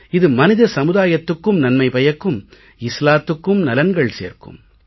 இது மனித சமுதாயத்துக்கும் நன்மை பயக்கும் இஸ்லாத்துக்கும் நலன்கள் சேர்க்கும்